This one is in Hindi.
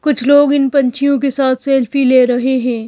कुछ लोग इन पंछियों के साथ सेल्फी ले रहे हैं।